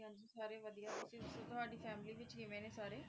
ਹਾਂਜੀ ਸਾਰੇ ਵਧੀਆ ਤੁਸੀ ਦਸੋ ਤੁਹਾਡੀ ਫੈਮਿਲੀ ਵਿਚ ਕਿਵੇਂ ਨੇ ਸਾਰੇ?